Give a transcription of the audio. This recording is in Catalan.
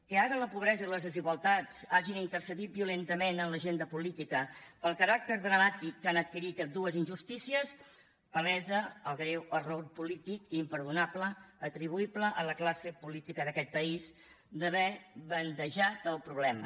que ara la pobresa i les desigualtats hagin intercedit violentament en l’agenda política pel caràcter dramàtic que han adquirit ambdues injustícies palesa el greu error polític i imperdonable atribuïble a la classe política d’aquest país d’haver bandejat el problema